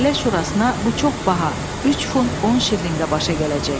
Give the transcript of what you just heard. Məhəllə şurasına bu çox baha, 3 funt 10 şilinqə başa gələcək.